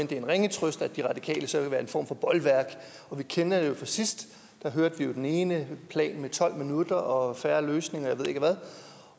det er en ringe trøst at de radikale så vil være en form for bolværk vi kender det jo fra sidst da hørte vi jo om den ene plan om tolv minutter og fair løsning og jeg ved ikke hvad